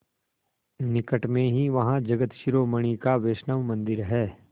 निकट में ही वहाँ जगत शिरोमणि का वैष्णव मंदिर है